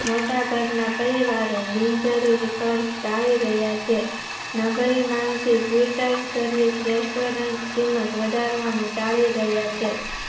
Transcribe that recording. મોટા ભાગના પરિવાર બિનજરૂરી ખર્ચ તાળી રહ્યા છે. નબળી માનતી twitter Service restaurant કિંમત વધારવાનું તાળી રહ્યા છે.